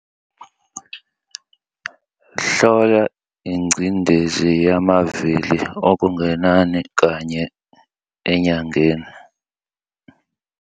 Hlola ingcindezi yamavili okungenani kanye enyangeni.